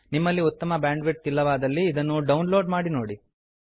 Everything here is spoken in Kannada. ನಿಮ್ಮಲ್ಲಿ ಉತ್ತಮ ಬ್ಯಾಂಡ್ ವಿಡ್ಥ್ ಇಲ್ಲವಾದಲ್ಲಿ ಇದನ್ನು ಡೌನ್ ಲೋಡ್ ಮಾಡಿ ನೋಡಿ